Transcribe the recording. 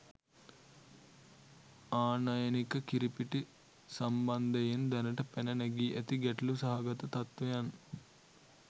ආනයනික කිරිපිටි සම්බන්ධයෙන් දැනට පැන නැගී ඇති ගැටළු සහගත තත්වයන්